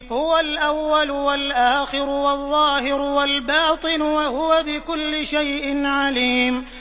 هُوَ الْأَوَّلُ وَالْآخِرُ وَالظَّاهِرُ وَالْبَاطِنُ ۖ وَهُوَ بِكُلِّ شَيْءٍ عَلِيمٌ